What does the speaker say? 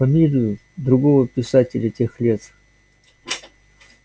фамилию другого писателя тех лет